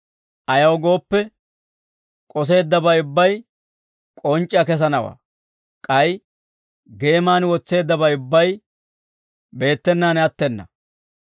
Ayaw gooppe, k'oseeddabay ubbay k'onc'c'iyaa kesanawaa; k'ay geeman wotseeddabay ubbay beettenaan attena.